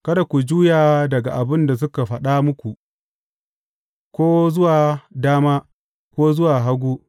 Kada ku juya daga abin da suka faɗa muku, ko zuwa dama, ko zuwa hagu.